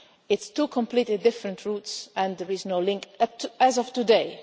They are two completely different routes and there is no link, as of